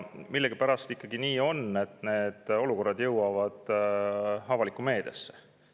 Millegipärast on ikkagi nii, et need olukorrad jõuavad avalikku meediasse.